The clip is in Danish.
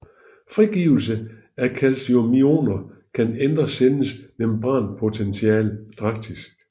Frigivelse af calciumioner kan ændre cellens membranpotential drastisk